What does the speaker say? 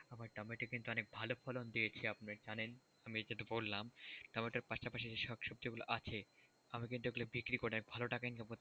আমার টমেটো কিন্তু অনেক ভালো ফলন দিয়েছে আপনি জানেন, আমি এটা তো বললাম তারপরে তার পাশাপাশি সব সবজিগুলোই আছে, আমি কিন্তু এগুলো বিক্রি করে ভালো টাকা income করতে পারতাম।